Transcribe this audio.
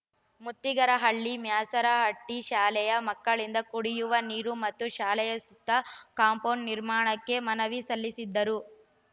ಮ್ತುತಿಗಾರಹಳ್ಳಿ ಮ್ಯಾಸರಹಟ್ಟಿಶಾಲೆಯ ಮಕ್ಕಳಿಂದ ಕುಡಿಯುವ ನೀರು ಮತ್ತು ಶಾಲೆಯ ಸುತ್ತ ಕಾಂಪೋಂಡ್‌ ನಿರ್ಮಾಣಕ್ಕೆ ಮನವಿ ಸಲ್ಲಿಸಿದರು